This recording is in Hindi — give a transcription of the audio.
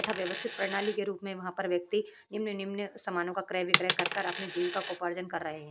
तथा व्यवस्थित प्रणाली के रूप में वहाँ पर व्यक्ति निम्न-निम्न सामानों का क्रय बिक्रय करकर अपने जीविका को उपार्जन कर रहे हैं।